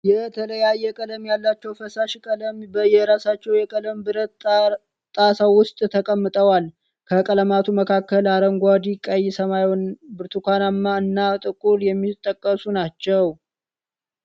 የተለያየ ቀለም ያላቸው ፈሳሽ ቀለማት በየራሳቸው የቀለም ብረት ጣሳ ዉስጥ ተቀምጠዋል። ከቀለማቱ መካከል አረንጓዴ፣ ቀይ፣ ሰማያዊ፣ ብርቱካናማ እና ጥቁር የሚጠቀሱ ናቸው።